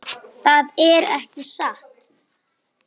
Það er ekki satt.